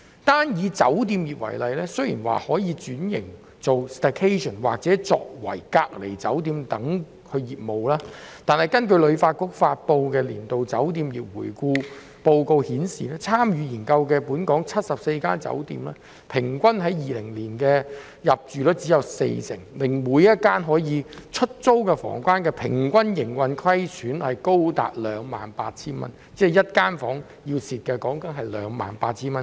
單以酒店業為例，雖說可轉型以經營 staycation 或作為隔離酒店的業務，但根據香港旅遊發展局發布的年度酒店業回顧報告顯示，參與研究的本港74間酒店，在2020年的平均入住率只有四成，每間可出租房間的平均營運虧損額高達 28,000 元，即每一間房間至少虧蝕 28,000 元。